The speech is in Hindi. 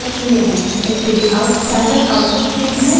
stdout standard output stream है